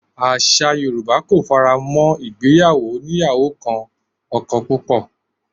Àṣà Yorùbá kò faramó ìgbéyàwó oníyàwó kan ọkọ púpọ̀